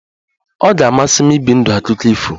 Ọ ga-amasị m ibi ndụ akụkọ ifo